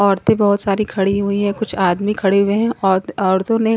औरतें बहोत सारी खड़ी हुई हैं कुछ आदमी खड़े हुए हैं औत औरतों ने--